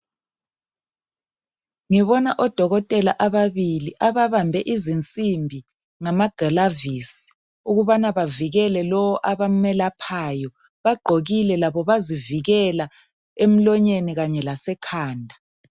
Ngibona odokotela ababili ababambe izinsimbi ngamagilavisi ukubana bavikele lowo abamelaphayo. Bagqokile labo bazivikele emlonyeni kanye lasekhanda.